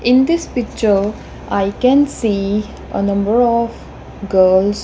in this picture i can see a number of girls.